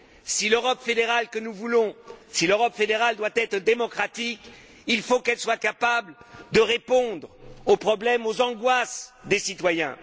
Si l'Europe fédérale que nous voulons doit être démocratique, il faut qu'elle soit capable de répondre aux problèmes, aux angoisses des citoyens.